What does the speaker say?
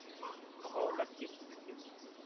हो नक्कीच नक्कीच.